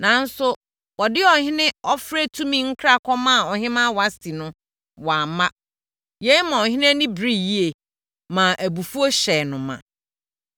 Nanso, wɔde ɔhene ɔfrɛtumi nkra kɔmaa ɔhemmaa Wasti no, wamma. Yei maa ɔhene ani bereeɛ yie, maa abufuo hyɛɛ no ma.